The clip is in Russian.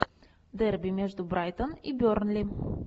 дерби между брайтон и бернли